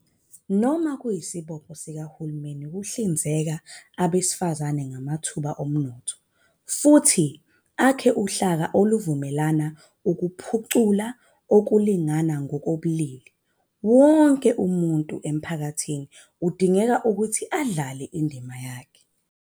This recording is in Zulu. Noma kuyisibopho sikahulumeni ukuhlinzeka abesifazane ngamathuba omnotho futhi akhe uhlaka oluvumela ukuphucula ukulingana ngokobulili, wonke umuntu emphakathini kudingeka ukuthi adlale indima yakhe.